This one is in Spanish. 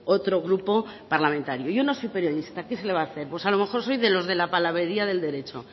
otro grupo parlamentario yo no soy periodista qué se le va a hacer pues a lo mejor soy de los de la palabrería del derecho